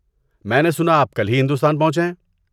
میں نے سنا آپ کل ہی ہندوستان پہنچے ہیں۔